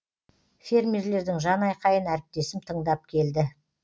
фермерлердің жан айқайын әріптесім тыңдап келді